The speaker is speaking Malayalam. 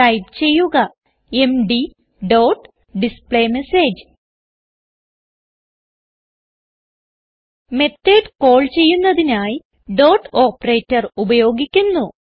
ടൈപ്പ് ചെയ്യുക MD dot display message method call ചെയ്യുന്നതിനായി ഡോട്ട് ഓപ്പറേറ്റർ ഉപയോഗിക്കുന്നു